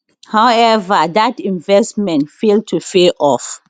howeva dat investment fail to pay off